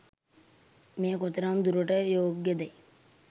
මෙය කෙතරම් දුරට යෝග්‍යදැයි